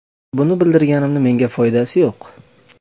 Buni bildirganimni menga foydasi yo‘q.